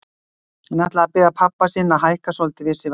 Hann ætlaði að biðja pabba sinn að hækka svolítið við sig vasapeningana.